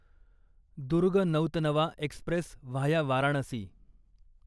Durg Nautanwa express via Varanasi